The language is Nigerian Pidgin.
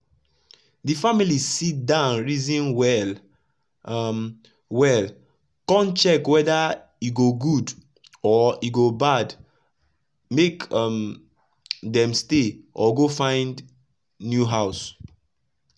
d family sit down reason well um well kon check weda e go good or e go bad make um dem stay or go find new house.